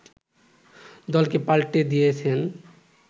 দলকে পাল্টে দিয়েছেন